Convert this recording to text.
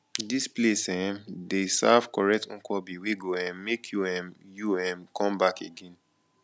dis place um dey serve correct nkwobi wey go um make you um you um come back again